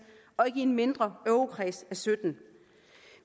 og ikke i en mindre eurokreds af syttende